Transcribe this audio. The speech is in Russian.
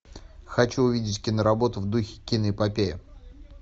хочу увидеть киноработу в духе киноэпопеи